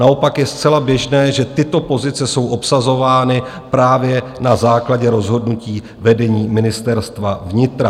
Naopak je zcela běžné, že tyto pozice jsou obsazovány právě na základě rozhodnutí vedení Ministerstva vnitra.